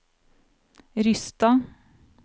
Rysstad